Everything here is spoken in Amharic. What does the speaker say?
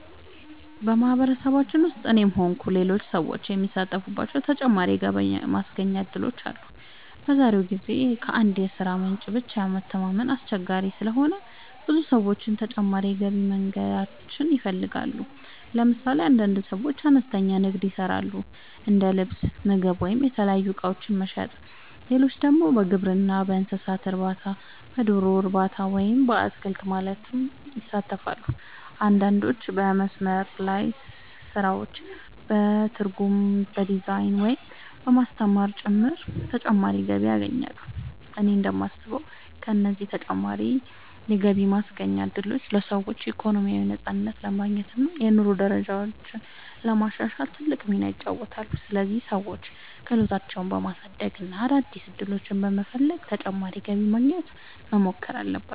በማህበረሰባችን ውስጥ እኔም ሆንኩ ሌሎች ሰዎች የሚሳተፉባቸው ተጨማሪ የገቢ ማስገኛ እድሎች አሉ። በዛሬው ጊዜ ከአንድ የሥራ ምንጭ ብቻ መተማመን አስቸጋሪ ስለሆነ ብዙ ሰዎች ተጨማሪ የገቢ መንገዶችን ይፈልጋሉ። ለምሳሌ አንዳንድ ሰዎች አነስተኛ ንግድ ይሰራሉ፤ እንደ ልብስ፣ ምግብ ወይም የተለያዩ እቃዎች መሸጥ። ሌሎች ደግሞ በግብርና፣ በእንስሳት እርባታ፣ በዶሮ እርባታ ወይም በአትክልት ልማት ይሳተፋሉ። አንዳንዶች በመስመር ላይ ስራዎች፣ በትርጉም፣ በዲዛይን፣ ወይም በማስተማር ጭምር ተጨማሪ ገቢ ያገኛሉ። እኔ እንደማስበው እነዚህ ተጨማሪ የገቢ ማስገኛ እድሎች ለሰዎች ኢኮኖሚያዊ ነፃነት ለማግኘት እና የኑሮ ደረጃቸውን ለማሻሻል ትልቅ ሚና ይጫወታሉ። ስለዚህ ሰዎች ክህሎታቸውን በማሳደግ እና አዳዲስ ዕድሎችን በመፈለግ ተጨማሪ ገቢ ለማግኘት መሞከር አለባቸው።